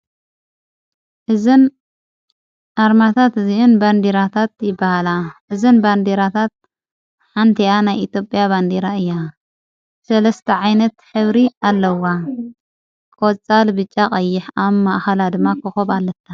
እዘን ኣርማታት እዚኢን በንዲራታት ይበሃላ እዘን በንዲራታት ሓንቲኣናይ ኢትጴያ ባንዲራ እያ ሠለስተዓይነት ኂብሪ ኣለዋ ቆፃል ብጫቐይሕ ኣብ ማእሃላ ድማ ኽኹብ ኣለታ ::